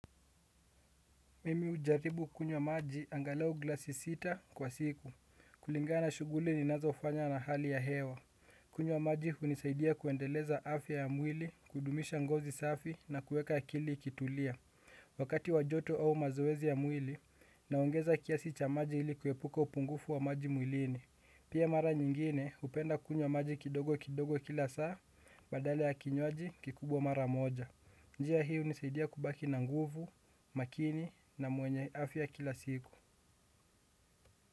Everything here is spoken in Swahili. Mimi hujaribu kunywa maji angalau glasi sita kwa siku. Kulingana na shuguli ninazofanya na hali ya hewa. Kunywa maji hunisaidia kuendeleza afya ya mwili, kudumisha ngozi safi na kuweka akili ikitulia. Wakati wa joto au mazoezi ya mwili, naongeza kiasi cha maji ili kuepuka upungufu wa maji mwilini. Pia mara nyingine, hupenda kunywa maji kidogo kidogo kila saa, badala ya kinywaji kikubwa mara moja. Njia hii hunisaidia kubaki na nguvu, makini na mwenye afya kila siku.